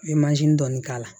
N ye dɔɔnin k'a la